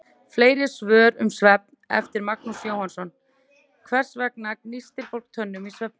Fleiri svör um svefn, eftir Magnús Jóhannsson: Hvers vegna gnístir fólk tönnum í svefni?